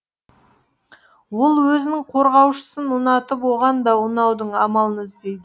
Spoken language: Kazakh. ол өзінің қорғаушысын ұнатып оған да ұнаудың амалын іздейді